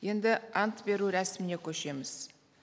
енді ант беру рәсіміне көшеміз